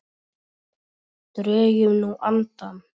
Drögum nú andann.